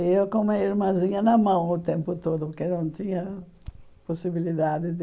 E eu com uma irmãzinha na mão o tempo todo, porque não tinha possibilidade de...